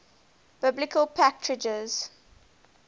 biblical patriarchs